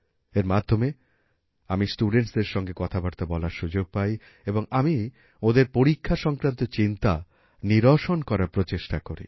এর মাধ্যমে আমি studentsদের সঙ্গে কথাবার্তা বলার সুযোগ পাই এবং আমি ওঁদের পরীক্ষা সংক্রান্ত চিন্তা নিরসন করার প্রচেষ্টা করি